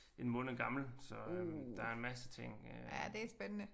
En måned gammel så øh der er en masse ting øh